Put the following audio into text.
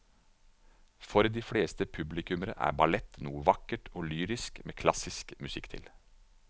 For de fleste publikummere er ballett noe vakkert og lyrisk med klassisk musikk til.